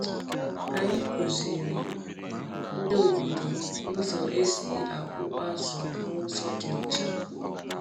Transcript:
Anyị kụziri ndị obodo ụzọ esi akpụ azụ n’ụzọ dị ọcha.